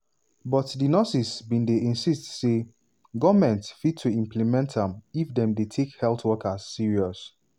but di nurses bin dey insist say goment fit to implement am if dem dey take health workers serious.